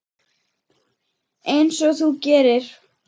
Einsog þú gerir?